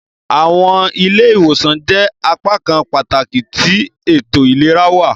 Awọn ile-iwosan jẹ apakan pataki ti eto ilera wa.